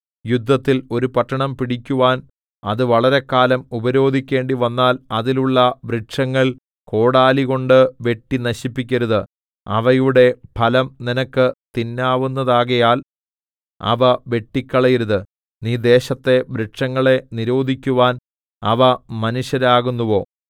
യുദ്ധത്തിൽ ഒരു പട്ടണം പിടിക്കുവാൻ അത് വളരെക്കാലം ഉപരോധിക്കേണ്ടിവന്നാൽ അതിലുള്ള വൃക്ഷങ്ങൾ കോടാലികൊണ്ട് വെട്ടി നശിപ്പിക്കരുത് അവയുടെ ഫലം നിനക്ക് തിന്നാവുന്നതാകയാൽ അവ വെട്ടിക്കളയരുത് നീ ദേശത്തെ വൃക്ഷങ്ങളെ നിരോധിക്കുവാൻ അവ മനുഷ്യരാകുന്നുവോ